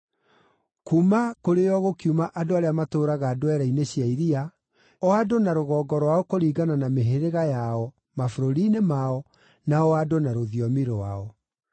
(Kuuma kũrĩ o gũkiuma andũ arĩa matũũraga ndwere-inĩ cia iria, o andũ na rũgongo rwao kũringana na mĩhĩrĩga yao, mabũrũri-inĩ mao, na o andũ na rũthiomi rwao.)